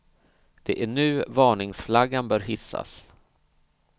Det är nu varningsflaggan bör hissas.